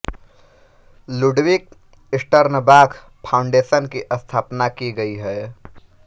Ludwig Sternbach foundation की स्थापना की गई है